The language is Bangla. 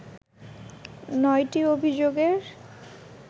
৯টি অভিযোগের